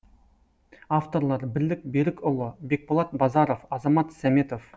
авторлары бірлік берікұлы бекболат базаров азамат сәметов